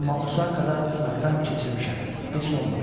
Amma Osakada sınakdan keçirmişəm, heç nə olmayıb.